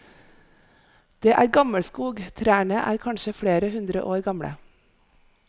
Det er gammelskog, trærne er kanskje flere hundre år gamle.